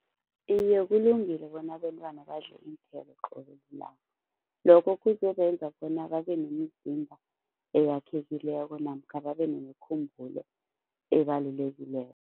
Iye kulungile bona abentwana badle iinthelo qobe lilanga, lokho kuzobenza bona babe nemizimba eyakhekileko namkha babe nemikhumbulo ebalulekileko.